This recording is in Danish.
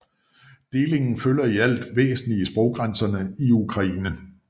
Delingen følger i alt væsentligt sproggrænserne i Ukraine